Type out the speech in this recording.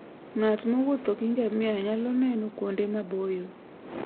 Ng'at mowuotho gi ngamia nyalo neno kuonde maboyo.